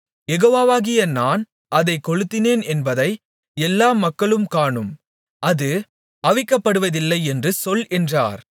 யெகோவாகிய நான் அதைக் கொளுத்தினேன் என்பதை எல்லா மக்களும் காணும் அது அவிக்கப்படுவதில்லை என்று சொல் என்றார்